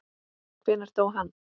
Hvenær dó hann?